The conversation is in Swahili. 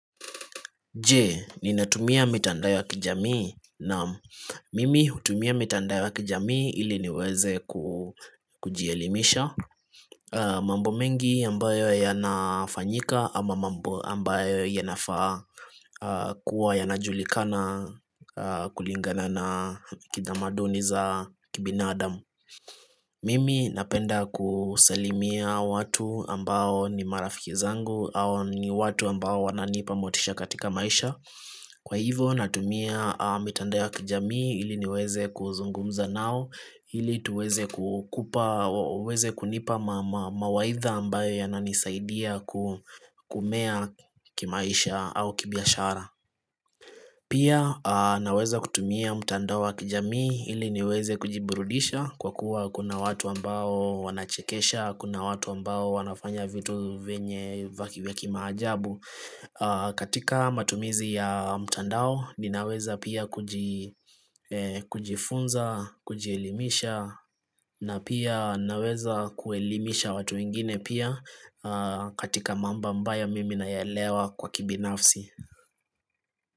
Je, ninatumia mitandao wa kijamii? Naam, mimi hutumia mitandae wa kijamii ili niweze kujielimisha mambo mengi ambayo ya nafanyika ama mambo ambayo ya nafaa kuwa yanajulikana kulingana na kitamaduni za kibinadamu Mimi napenda kusalimia watu ambao ni marafiki zangu au ni watu ambao wananipa motisha katika maisha. Kwa hivo natumia mitandao wa kijami ili niweze kuzungumza nao ili tuweze kunipa mawaidha ambayo yananisaidia kumea kimaisha au kibiashara Pia naweza kutumia mtandao wakijamii ili niweze kujiburudisha kwa kuwa kuna watu ambao wanachekesha, kuna watu ambao wanafanya vitu venye vaki vya kimajabu. Katika matumizi ya mtandao ninaweza pia kujifunza, kujielimisha na pia naweza kuelimisha watu ingine pia katika mambo ambayo mimi nayelewa kwa kibinafsi.